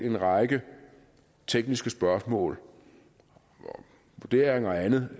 en række tekniske spørgsmål vurderinger og andet